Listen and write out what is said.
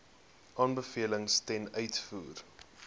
aanbevelings ten uitvoer